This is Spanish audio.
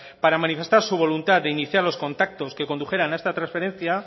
para manifestar su voluntad de iniciar los contactos que condujeran a esta transferencia